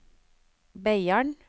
Beiarn